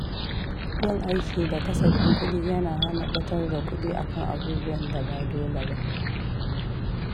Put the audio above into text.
Yin aiki da kasafin kudi yana hana ɓatar da kuɗi a kan abubuwan da ba dole ba.